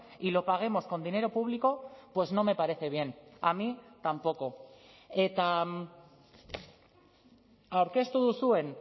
y lo paguemos con dinero público pues no me parece bien a mí tampoco eta aurkeztu duzuen